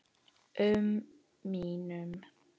um mínum.